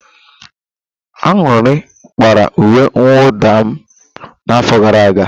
Aṅụrị kpara uwe mwụda m n'afọ gara aga.